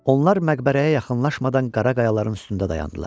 Onlar məqbərəyə yaxınlaşmadan qara qayaların üstündə dayandılar.